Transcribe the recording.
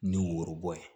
Ni worobɔ ye